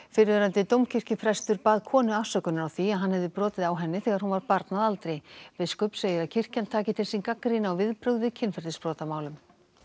fyrrverandi dómkirkjuprestur bað konu afsökunar á því að hann hefði brotið á henni þegar hún var barn að aldri biskup segir að kirkjan taki til sín gagnrýni á viðbrögð við kynferðisbrotamálum